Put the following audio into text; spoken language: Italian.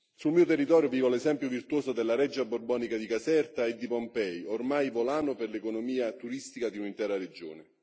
Sul mio territorio vivo l'esempio virtuoso della Reggia borbonica di Caserta e di Pompei, ormai volano per l'economia turistica di un'intera regione.